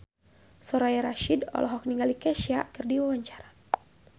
Soraya Rasyid olohok ningali Kesha keur diwawancara